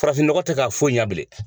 Farafinnɔgɔ tɛ ka foyi ɲa bilen.